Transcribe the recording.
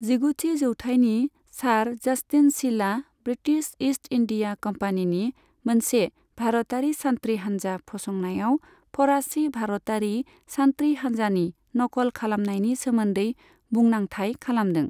जिगुथि जौथायनि सार जास्टिन शीलआ ब्रिटिस ईस्ट इन्डिया कम्पानीनि मोनसे भारतारि सान्थ्रि हान्जा फसंनायाव फराचि भारतारि सान्थ्रि हान्जानि नकल खालामनायनि सोमोन्दै बुंनांथाय खालामदों।